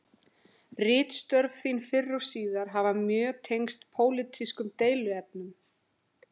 Ritstörf þín fyrr og síðar hafa mjög tengst pólitískum deiluefnum.